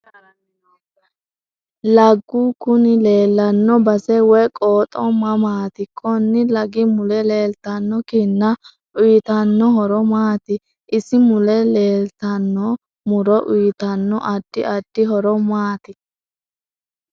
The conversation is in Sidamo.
Laggu kuni leelanno base woyi qooxo mamaati konni laggi mule leeltano kinna uyiitanno horo maati isi mule leetanno muro uyiitanno addi addi horo maati